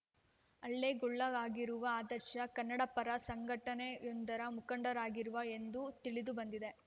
ಹಲ್ಲೆ ಗೊಳಗಾಗಿರುವ ಆದರ್ಶ ಕನ್ನಡ ಪರ ಸಂಘಟನೆಯೊಂದರ ಮುಖಂಡರಾಗಿದ್ದರು ಎಂದು ತಿಳಿದುಬಂದಿದೆ